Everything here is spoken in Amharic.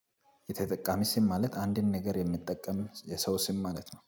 የተጠቃሚ ስም ማለት አንድን ነገር የምጠቀም የሰው ስም ማለት ነው